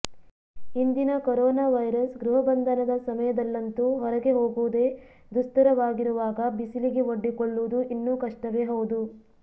ಇಂದಿನ corona virus ಗೃಹಬಂಧನದ ಸಮಯದಲ್ಲಂತೂ ಹೊರಗೆ ಹೋಗುವುದೇ ದುಸ್ತರವಾಗಿರುವಾಗ ಬಿಸಿಲಿಗೆ ಒಡ್ಡಿಕೊಳ್ಳುವುದು ಇನ್ನೂ ಕಷ್ಟವೇ ಹೌದು